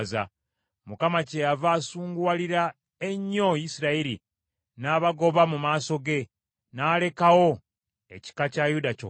Mukama kyeyava asunguwalira ennyo Isirayiri, n’abagoba mu maaso ge, n’alekawo ekika kya Yuda kyokka.